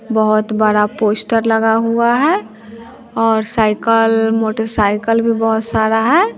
बहुत बड़ा पोस्टर लगा हुआ है और साइकल मोटरसाइकल भी बहुत सारा है।